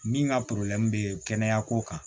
Min ka bɛ kɛnɛya ko kan